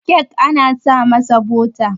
kek ana sa masa bota